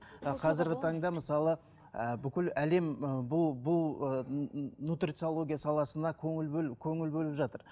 ыыы қазіргі таңда мысалы ыыы бүкіл әлем ыыы бұл бұл ы нутрициология саласына көңіл бөл көңіл бөліп жатыр